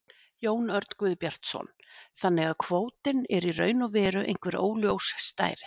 Jón Örn Guðbjartsson: Þannig að kvótinn er í raun og veru einhver óljós stærð?